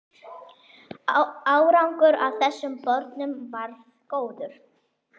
Árangur af þessum borunum varð góður.